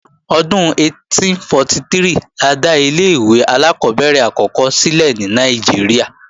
Ọdún 1843 la dá ilé-ìwé alákọ́bẹ̀rẹ̀ àkọ́kọ́ sílẹ̀ ní Nàìjíríà